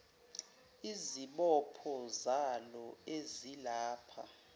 izibopho zalo ezilapha